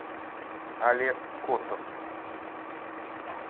олег котов